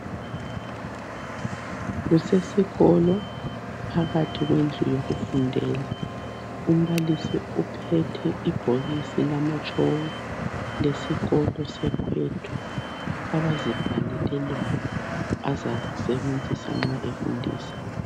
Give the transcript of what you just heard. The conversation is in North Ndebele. Kusesikolo, phakathi kwendlu yokufundela. Umbalisi uphethe ibhokisi lamatshoko. Lesikolo seKwetu, abazibhalele lona. Azalisebenzisa nxa efundisa.